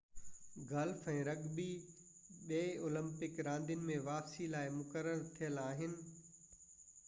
golf ۽ rugby ٻئي Olympic راندين ۾ واپسي لاءِ مقرر ٿيل آهن